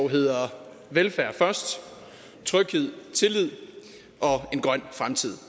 hedder velfærd først tryghed tillid og en grøn fremtid